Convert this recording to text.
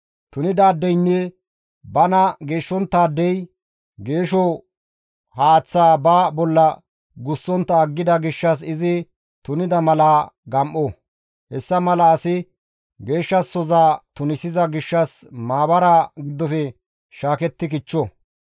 «Tunidaadeynne bana geeshshonttaadey geesho haaththaa ba bolla gussontta aggida gishshas izi tunida mala gam7o; hessa mala asi geeshshasoza tunisiza gishshas maabaraa giddofe shaaketti kichcho.